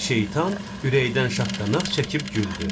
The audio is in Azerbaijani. Şeytan ürəkdən şaqqanaq çəkib güldü.